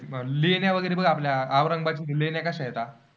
लेण्या वगैरे बघ आपल्या औरंगाबादच्या लेण्या कशा आहेत?